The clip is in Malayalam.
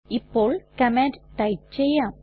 ഇപ്പോൾ കമാൻഡ് ടൈപ്പ് ചെയ്യാം